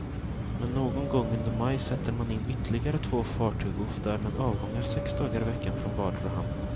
Men någon gång under maj sätter man in ytterligare två fartyg och får därmed avgångar sex dagar i veckan från vardera hamn.